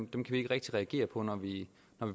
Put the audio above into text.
vi ikke rigtig reagere på når vi